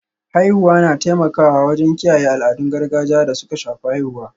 Haihuwa na taimakawa wajen kiyaye al'adun gargajiya da suka shafi haihuwa.